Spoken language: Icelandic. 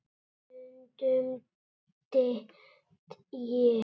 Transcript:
Stundum dett ég.